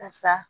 Karisa